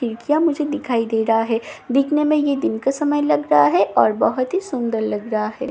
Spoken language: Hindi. ए_टी_एम मुझे दिखाई दे रहा है दिखने में यह दिन का समय लग रहा है और बहोत ही सुंदर लग रहा है।